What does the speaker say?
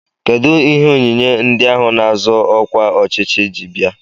Kedụ ihe onyinye ndị ahụ na-azọ ọkwa ọchịchị ji bịa?